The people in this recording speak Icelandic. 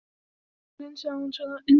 Hörn, hvernig er veðrið á morgun?